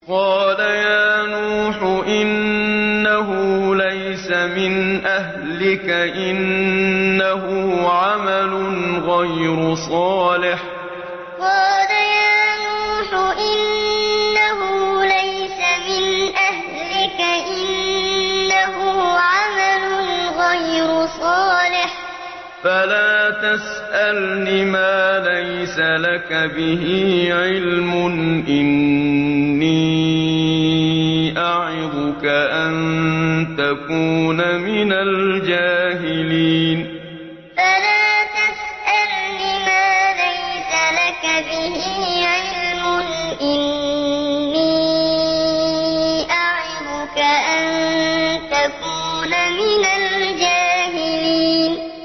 قَالَ يَا نُوحُ إِنَّهُ لَيْسَ مِنْ أَهْلِكَ ۖ إِنَّهُ عَمَلٌ غَيْرُ صَالِحٍ ۖ فَلَا تَسْأَلْنِ مَا لَيْسَ لَكَ بِهِ عِلْمٌ ۖ إِنِّي أَعِظُكَ أَن تَكُونَ مِنَ الْجَاهِلِينَ قَالَ يَا نُوحُ إِنَّهُ لَيْسَ مِنْ أَهْلِكَ ۖ إِنَّهُ عَمَلٌ غَيْرُ صَالِحٍ ۖ فَلَا تَسْأَلْنِ مَا لَيْسَ لَكَ بِهِ عِلْمٌ ۖ إِنِّي أَعِظُكَ أَن تَكُونَ مِنَ الْجَاهِلِينَ